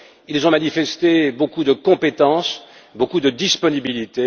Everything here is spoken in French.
Ils ont manifesté beaucoup de compétence, beaucoup de disponibilité.